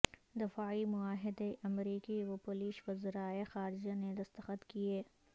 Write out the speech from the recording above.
دفاعی معاہدے امریکی و پولش وزرائے خارجہ نے دستخط کیے